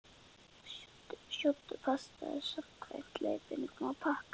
Sjóddu pastað samkvæmt leiðbeiningum á pakka.